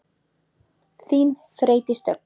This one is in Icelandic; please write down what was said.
Þín, Freydís Dögg.